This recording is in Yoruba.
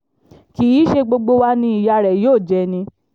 kì í ṣe gbogbo wa ni ìyá rẹ̀ yóò jẹ́ ni